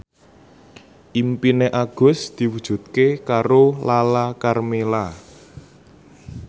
impine Agus diwujudke karo Lala Karmela